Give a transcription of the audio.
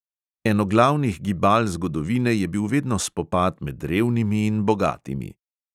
Eno glavnih gibal zgodovine je bil vedno spopad med revnimi in bogatimi.